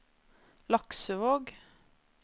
Laksevåg